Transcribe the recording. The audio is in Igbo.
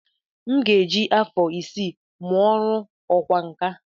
M ga-eji afọ isii mụọ ọrụ ọkwá nkà.